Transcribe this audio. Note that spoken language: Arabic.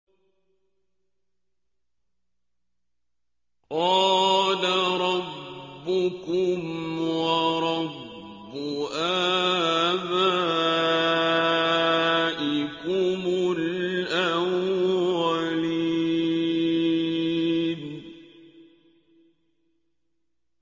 قَالَ رَبُّكُمْ وَرَبُّ آبَائِكُمُ الْأَوَّلِينَ